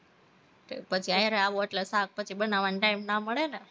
પછી હારે આવો એટલે શાક પછી બનાવવાનો time ના મળે ને